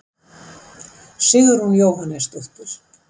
Sigrún Jóhannesdóttir.